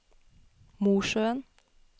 Mosjøen